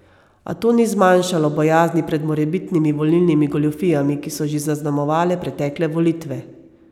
A to ni zmanjšalo bojazni pred morebitnimi volilnimi goljufijami, ki so že zaznamovale pretekle volitve.